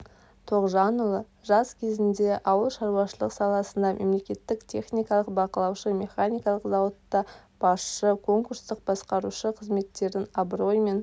тоқжанұлы жас кезінде ауылшаруашылық саласында мемлекеттік техникалық бақылаушы механикалық зауытта басшы конкурстық басқарушы қызметтерін абыроймен